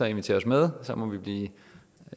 invitere os med så må vi blive